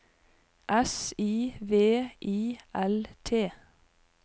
S I V I L T